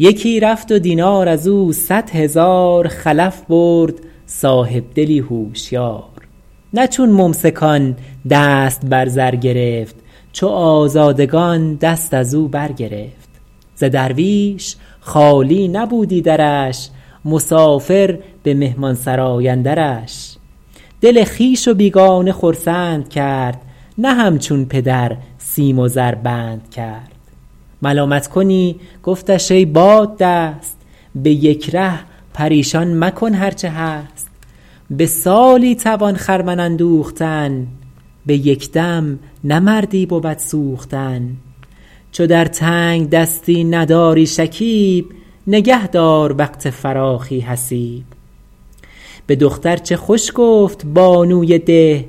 یکی رفت و دینار از او صد هزار خلف برد صاحبدلی هوشیار نه چون ممسکان دست بر زر گرفت چو آزادگان دست از او بر گرفت ز درویش خالی نبودی درش مسافر به مهمانسرای اندرش دل خویش و بیگانه خرسند کرد نه همچون پدر سیم و زر بند کرد ملامت کنی گفتش ای باددست به یک ره پریشان مکن هر چه هست به سالی توان خرمن اندوختن به یک دم نه مردی بود سوختن چو در تنگدستی نداری شکیب نگه دار وقت فراخی حسیب به دختر چه خوش گفت بانوی ده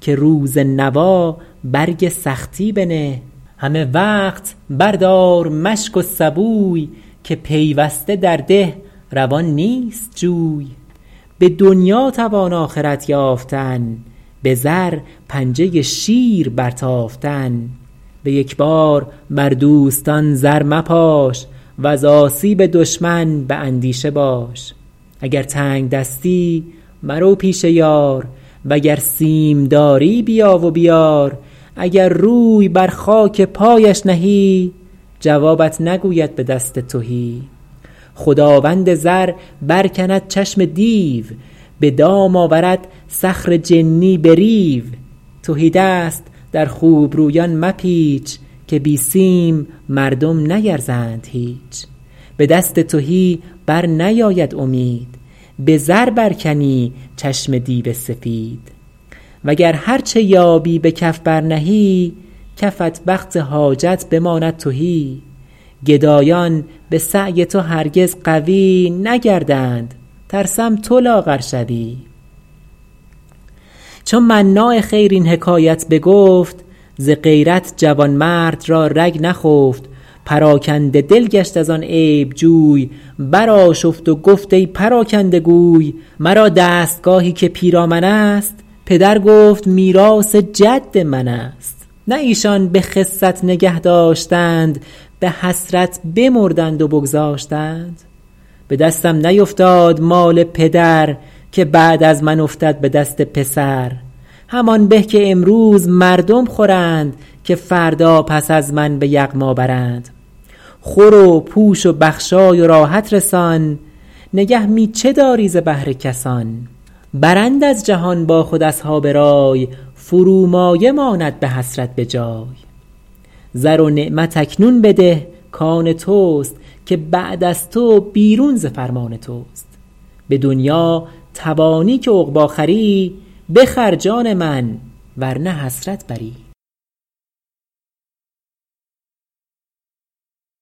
که روز نوا برگ سختی بنه همه وقت بر دار مشک و سبوی که پیوسته در ده روان نیست جوی به دنیا توان آخرت یافتن به زر پنجه شیر بر تافتن به یک بار بر دوستان زر مپاش وز آسیب دشمن به اندیشه باش اگر تنگدستی مرو پیش یار وگر سیم داری بیا و بیار اگر روی بر خاک پایش نهی جوابت نگوید به دست تهی خداوند زر بر کند چشم دیو به دام آورد صخر جنی به ریو تهی دست در خوبرویان مپیچ که بی سیم مردم نیرزند هیچ به دست تهی بر نیاید امید به زر برکنی چشم دیو سپید وگر هرچه یابی به کف بر نهی کفت وقت حاجت بماند تهی گدایان به سعی تو هرگز قوی نگردند ترسم تو لاغر شوی چو مناع خیر این حکایت بگفت ز غیرت جوانمرد را رگ نخفت پراکنده دل گشت از آن عیب جوی بر آشفت و گفت ای پراکنده گوی مرا دستگاهی که پیرامن است پدر گفت میراث جد من است نه ایشان به خست نگه داشتند به حسرت بمردند و بگذاشتند به دستم نیفتاد مال پدر که بعد از من افتد به دست پسر همان به که امروز مردم خورند که فردا پس از من به یغما برند خور و پوش و بخشای و راحت رسان نگه می چه داری ز بهر کسان برند از جهان با خود اصحاب رای فرومایه ماند به حسرت بجای زر و نعمت اکنون بده کآن توست که بعد از تو بیرون ز فرمان توست به دنیا توانی که عقبی خری بخر جان من ور نه حسرت بری